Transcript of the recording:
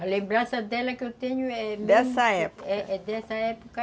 A lembrança dela que eu tenho é dessa época.